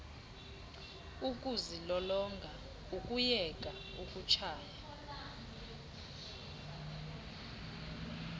ukuzilolonga ukuyeka ukutshaya